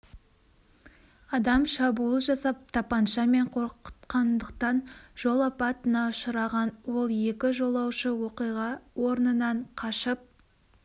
адам шабуыл жасап тапанша мен қорқытқандықтан жол апатына ұшыраған ол екі жолаушы оқиға орнынан қашып